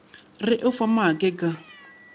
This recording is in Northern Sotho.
re o fa maake ka